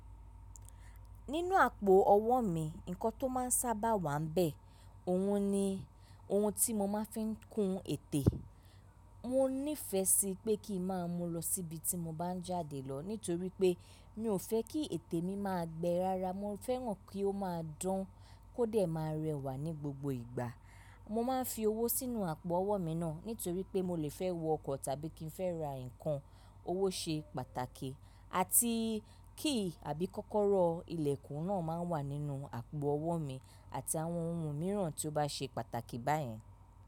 Nínú àpò ọwọ́ mi, nǹkan tó máa ń sábà wà nbẹ̀, ohun ni ohun tí mo máa ń fi kun ètè. Mo nífẹsí pé kí i máa mú lọ sí ibi tí mo bá ń jáde lọ nítorí pé mi ò fẹ́ kí ètè mi máa gbẹ rara. Mo fẹ́ràn kí ó máa dán kó dẹ̀ máa rẹwà ní gbogbo ìgbà. Mo máa ń fi owó sínú àpò ọwọ́ mi náà nítorí pé mo lè fẹ́ wọ ọkọ̀ tàbí kí n fẹ́ ra nǹkan. Owó ṣe pàtàkì àti key àbí kọ́kọ́rọ́ ilẹ̀kùn náà máa wà nínú àpò ọwọ́ mi àti àwọn ohun mìíràn tí ó bá ṣe pàtàkì báyẹn.